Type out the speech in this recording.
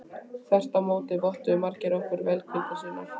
Þvert á móti vottuðu margir okkur velvild sína.